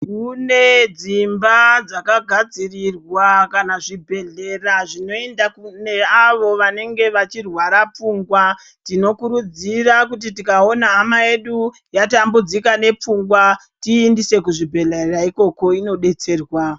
Kune dzimba dzakagadzirirwa kana dzimba dzinoendwa neawo vanenge vachirwara pfungwa tinokurudzirwa tikaona hama yedu yatambudzika nepfungwa tiiendese kuzvibhedhlera ikoko inodetserwa.